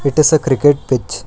It is a cricket pitch.